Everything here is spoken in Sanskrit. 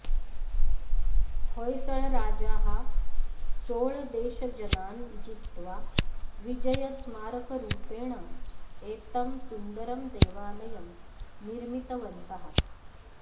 होय्सळराजाः चोळदेशजनान् जित्वा विजयस्मारकरूपेण एतं सुन्दरं देवालयं निर्मितवन्तः